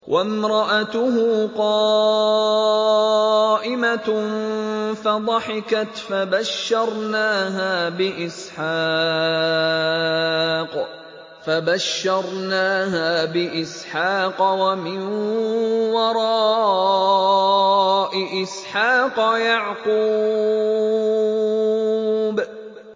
وَامْرَأَتُهُ قَائِمَةٌ فَضَحِكَتْ فَبَشَّرْنَاهَا بِإِسْحَاقَ وَمِن وَرَاءِ إِسْحَاقَ يَعْقُوبَ